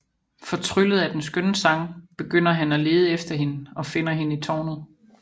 Fortryllet af den skønne sang begynder han at lede efter hende og finder hende i tårnet